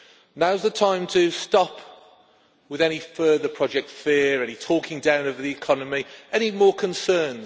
Now is the time to stop with any further project fear', any talking down of the economy, any more concerns.